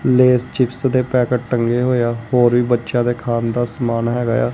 ਲੇਸ chips ਦੇ packet ਟੰਗੇ ਹੋਏ ਆ ਹੋਰ ਵੀ ਬੱਚਿਆਂ ਦੇ ਖਾਣ ਦਾ ਸਮਾਨ ਹੈਗਾ ਆ।